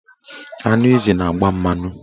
Anụ ezi na-agba mmanụ.